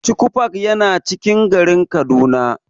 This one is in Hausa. Chuchu park yana cikin garin Kaduna.